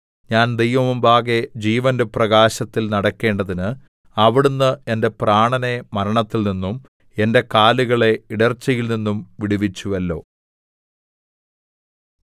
ഞാൻ ദൈവമുമ്പാകെ ജീവന്റെ പ്രകാശത്തിൽ നടക്കേണ്ടതിന് അവിടുന്ന് എന്റെ പ്രാണനെ മരണത്തിൽനിന്നും എന്റെ കാലുകളെ ഇടർച്ചയിൽനിന്നും വിടുവിച്ചുവല്ലോ